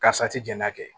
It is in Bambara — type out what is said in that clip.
Karisa ti jɛn n'a kɛ